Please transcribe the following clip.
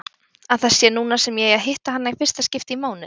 Að það sé núna sem ég eigi að hitta hana í fyrsta skipti í mánuð.